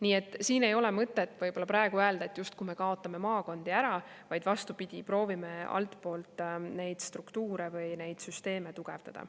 Nii et siin ei ole mõtet praegu öelda, et justkui me kaotame maakondi ära, vaid vastupidi, proovime altpoolt neid struktuure või neid süsteeme tugevdada.